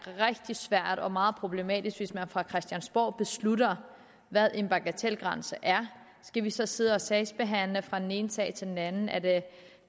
rigtig svært og meget problematisk hvis man fra christiansborg beslutter hvad en bagatelgrænse er skal vi så sidde og sagsbehandle fra den ene sag til den anden er det